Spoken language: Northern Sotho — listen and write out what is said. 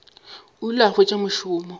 o ile a hwetša mošomo